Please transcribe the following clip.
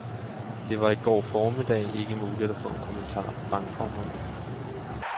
Det var i går formiddag ikke muligt at få en kommentar fra bankformanden.